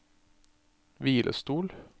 hvilestol